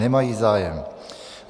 Nemají zájem.